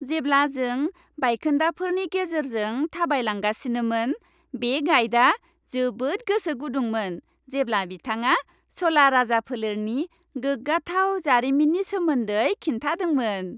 जेब्ला जों बायखोन्दाफोरनि गेजेरजों थाबायलांगासिनोमोन, बे गाइडआ जोबोद गोसो गुदुंमोन जेब्ला बिथाङा च'ला राजफोलेरनि गोग्गाथाव जारिमिननि सोमोन्दै खिन्थादोंमोन।